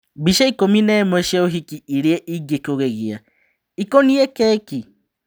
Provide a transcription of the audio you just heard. Mbica ikũmi-nemwe cia ũhiki iria-ingĩkũgegia. ĩikoniĩ keki?